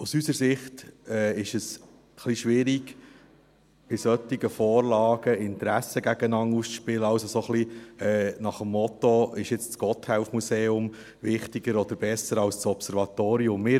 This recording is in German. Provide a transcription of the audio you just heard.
Aus unserer Sicht ist es etwas schwierig, bei solchen Vorlagen Interessen gegeneinander auszuspielen, so nach dem Motto «Ist jetzt das Gotthelf-Museum wichtiger oder besser als das Observatorium?».